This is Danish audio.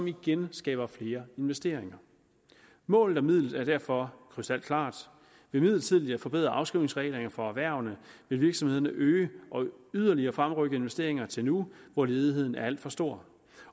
igen skaber flere investeringer målet og midlet er derfor krystalklart ved midlertidigt at forbedre afskrivningsreglerne for erhvervene vil virksomhederne øge og yderligere fremrykke investeringer til nu hvor ledigheden er alt for stor